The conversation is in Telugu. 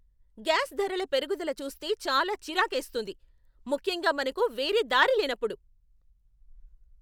గ్యాస్ ధరల పెరుగుదల చూస్తే చాలా చిరాకేస్తుంది, ముఖ్యంగా మనకు వేరే దారి లేనప్పుడు.